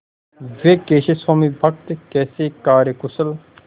वे कैसे स्वामिभक्त कैसे कार्यकुशल